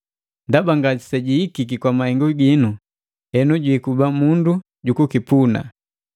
Ndaba ngaseihengiki kwa mahengu ginu henu jiikuba mundu ju kukipuna.